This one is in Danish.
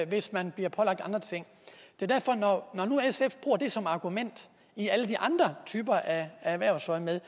hvis man bliver pålagt andre ting når nu sf bruger det som argument i alle de andre typer af spørgsmål i erhvervsøjemed